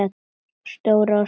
Stórar og smáar.